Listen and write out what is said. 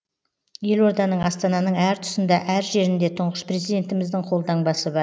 елорданың астананың әр тұсында әр жерінде тұңғыш президентіміздің қолтаңбасы бар